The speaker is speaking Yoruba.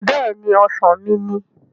Bẹ́ẹ̀ni! Ọ̀sán mi ni